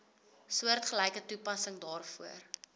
soortgelyke toepassing daarvoor